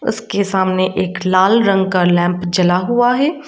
उसके सामने एक लाल रंग का लैंप जला हुआ है।